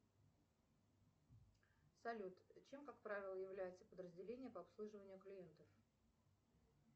салют чем как правило является подразделение по обслуживанию клиентов